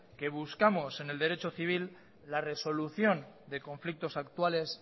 que buscamos en el derecho civil la resolución de conflictos actuales